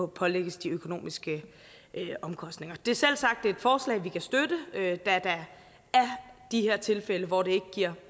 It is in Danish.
pålægges de økonomiske omkostninger det er selvsagt et forslag vi kan støtte da der er de her tilfælde hvor det ikke giver